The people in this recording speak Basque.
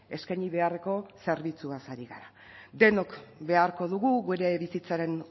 eskaini beharreko zerbitzuaz ari gara denok beharko dugu gure bizitzaren